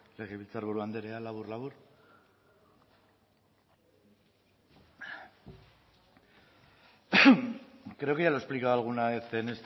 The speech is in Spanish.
legebiltzarburu andrea labur labur creo que ya lo he explicado alguna vez en